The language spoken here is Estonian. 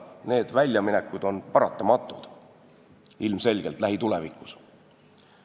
Need väljaminekud on lähitulevikus paratamatult ilmselged.